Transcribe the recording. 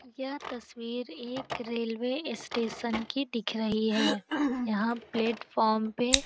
यह तस्वीर एक रेलवे इस स्टेशन की दिख रही है । यहाँ प्लेटफार्म पे --